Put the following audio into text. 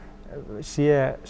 sé